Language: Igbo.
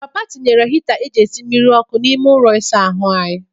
Papa tinyere hita e ji esi mmiri ọkụ n'ime ụlọ isa ahụ anyị.